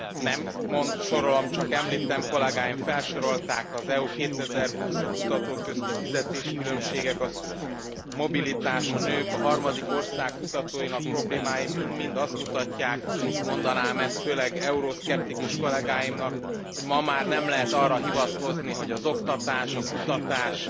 Nem sorolom, csak említem, kollégáim felsorolták, az Európa 2020, a kutatók közti fizetéskülönbségek, a mobilitás, a nők, a harmadik ország kutatóinak problémái mind mind azt mutatják, mondanám ezt, főleg euroszkeptikus kollegáimnak, hogy ma már nem lehet arra hivatkozni, hogy az oktatás, a kutatás,